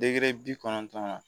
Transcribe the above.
bi kɔnɔntɔn na